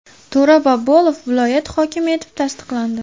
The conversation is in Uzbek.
To‘ra Bobolov viloyat hokimi etib tasdiqlandi.